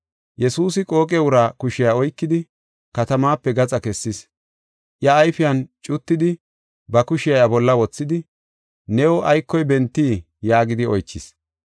Yesuusi qooqe uraa kushiya oykidi katamaape gaxa kessis. Iya ayfiyan cuttidi ba kushiya iya bolla wothidi, “New aykoy bentii?” yaagidi oychis.